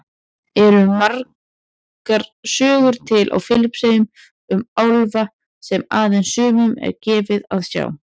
Eru margar sögur til á Filippseyjum um álfa sem aðeins sumum er gefið að sjá?